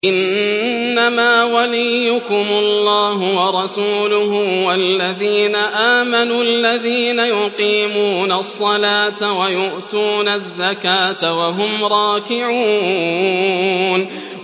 إِنَّمَا وَلِيُّكُمُ اللَّهُ وَرَسُولُهُ وَالَّذِينَ آمَنُوا الَّذِينَ يُقِيمُونَ الصَّلَاةَ وَيُؤْتُونَ الزَّكَاةَ وَهُمْ رَاكِعُونَ